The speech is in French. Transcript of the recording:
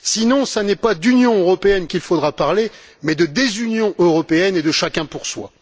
Sinon, ce n'est pas d'Union européenne dont il faudra parler, mais de désunion européenne et de chacun pour soi.